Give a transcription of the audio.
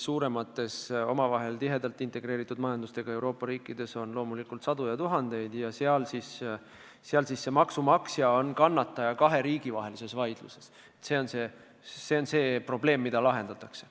Suuremates ja omavahel tihedalt integreeritud majandusega Euroopa riikides on neid loomulikult sadu ja tuhandeid ning kui maksumaksja osutub kahe riigi vahelises vaidluses kannatanuks, siis tuleb see probleem lahendada.